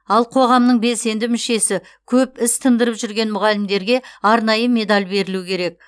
ал қоғамның белсенді мүшесі көп іс тындырып жүрген мұғалімдерге арнайы медаль берілуі керек